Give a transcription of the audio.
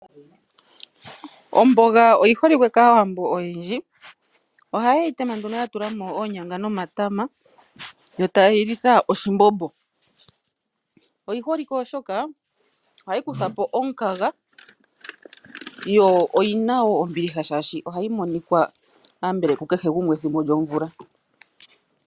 Omboga oyi holikwe kaAwambo oyendji. Ohaye yi tema nduno ya tula mo oonyanga nomatama yo taye yi litha oshimbombo. Oyi holike oshoka ohayi kutha po omukaga yo oyina wo ombiliha oshoka ohayi monika konyala ku kehe gumwe pethimbo lyomvula.